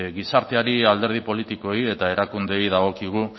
gizarteari alderdi politikoei eta erakundeei dagokigu